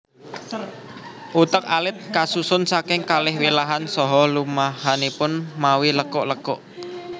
Utek alit kasusun saking kalih wilahan saha lumahanipun mawi lekuk lekuk